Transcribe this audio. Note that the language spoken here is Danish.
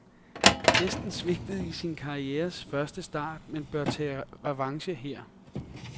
Hesten svigtede i sin karrieres første start, men bør tage revanche her.